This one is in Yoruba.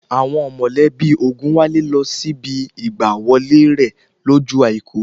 Àwọn mọ̀lẹ́bí Ògùnwálé lọ síbi ìgbà wọlé rẹ̀ lọ́jọ́ àìkú